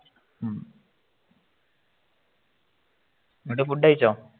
എന്നിട്ട് ഫുഡ് കഴിച്ചോ